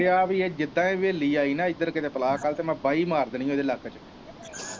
ਮੇਰਾ ਦਿਲ ਕਰਨ ਦਿਆਂ ਕਿ ਜਿਦਾ ਈ ਹਵੇਲੀ ਆਈ ਇੱਧਰ ਬਲਾ ਮੈਂ ਬਾਹੀ ਮਾਰ ਦੇਣੀ ਇਦੇ ਲੱਕ ਚ।